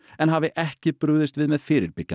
en hafi ekki brugðist við með fyrirbyggjandi